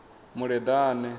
muleḓane